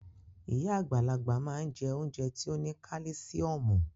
Iya agbalagba ma n je ounje ti o ni kalisiomu.